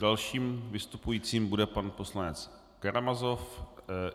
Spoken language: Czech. Dalším vystupujícím bude pan poslanec Karamazov.